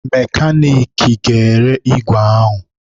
Mekaniki ga-ere igwe ahụ